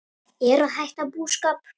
Ég er að hætta búskap.